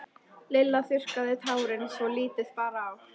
Lilla þurrkaði tárin svo lítið bar á.